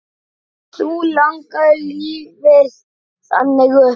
Þú lagðir lífið þannig upp.